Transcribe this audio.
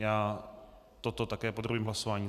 Já toto také podrobím hlasování.